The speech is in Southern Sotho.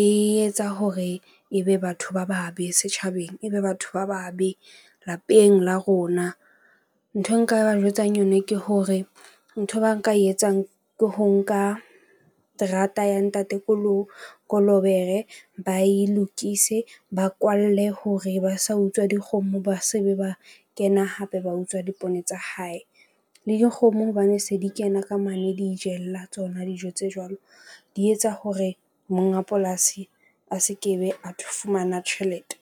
e etsa hore ebe batho ba babe setjhabeng. Ebe batho ba babe lapeng la rona. Nthwe nka ba jwetsang yona ke hore nthwe ba e nka e etsang ke ho nka terata ya ntate Kolobere, ba e lokise ba kwalle hore ba sa utswa dikgomo, ba se be ba kena hape ba utswa dipoone tsa hae. Le dikgomo hobane se di kena ka mane, di itjella tsona. dijo tse jwalo. Di etsa hore monga polasi a se ke be, a fumana tjhelete.